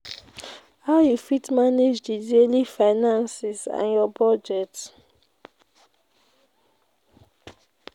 how you fit manage di daily finances and your budget?